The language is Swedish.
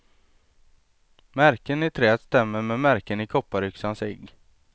Märken i träet stämmer med märken i kopparyxans egg.